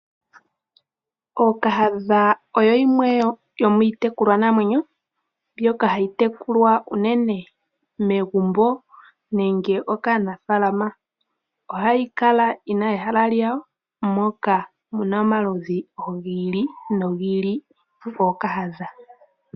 Ookahadha oyo yimwe yoomiitekulwanamwenyo mbyoka hayi tekulwa unene megumbo nenge kaanafaalama, ohayi kala yina ehala lyawo moka muna oludhi gi ili nogi ili gwookahadha.